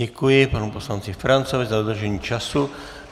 Děkuji panu poslanci Ferancovi za dodržení času.